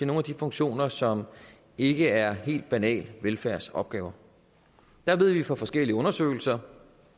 nogle af de funktioner som ikke er helt banale velfærdsopgaver der ved vi fra forskellige undersøgelser